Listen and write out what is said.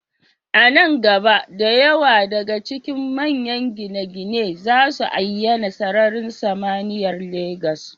A nan gaba, da yawa daga cikin manyan gine-ginen za su ayyana sararin samaniyar Legas.